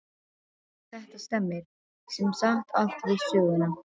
Þetta stemmir sem sagt allt við söguna.